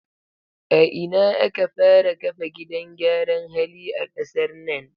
A ina aka fara kafa gidan gyaran hali a kasar nan?